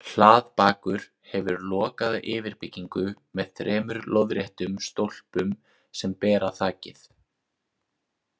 Hlaðbakur hefur lokaða yfirbyggingu með þremur lóðréttum stólpum sem bera þakið.